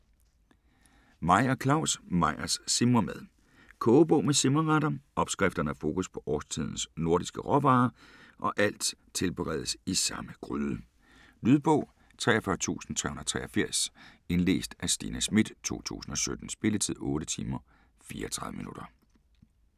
Meyer, Claus: Meyers simremad Kogebog med simreretter. Opskrifterne har fokus på årstidens nordiske råvarer og alt tilberedes i samme gryde. Lydbog 43383 Indlæst af Stina Schmidt, 2017. Spilletid: 8 timer, 34 minutter.